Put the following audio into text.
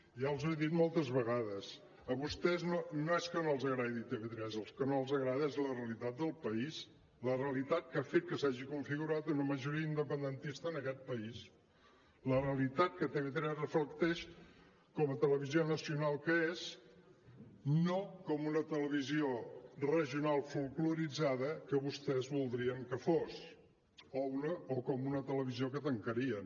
ja els ho he dit moltes vegades a vostès no és que no els agradi tv3 el que no els agrada és la realitat del país la realitat que ha fet que s’hagi configurat una majoria independentista en aquest país la realitat que tv3 reflecteix com a televisió nacional que és no com una televisió regional folkloritzada que vostès voldrien que fos o com una televisió que tancarien